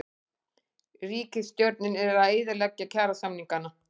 Ríkisstjórnin að eyðileggja kjarasamningana